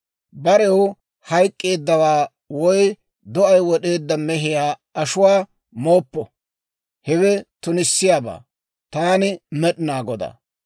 Barew hayk'k'eeddawaa woy do'ay wod'eedda mehiyaa ashuwaa mooppo; hewe tunissiyaabaa. Taani Med'inaa Godaa.